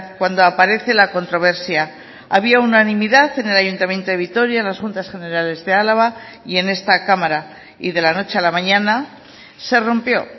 cuando aparece la controversia había unanimidad en el ayuntamiento de vitoria en las juntas generales de álava y en esta cámara y de la noche a la mañana se rompió